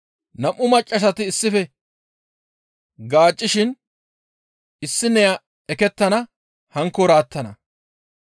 Nam7u maccassati issife gaaccishin issineya ekettana; hankkoora attana.